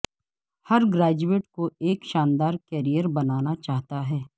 ہر graduate کو ایک شاندار کیریئر بنانا چاہتا ہے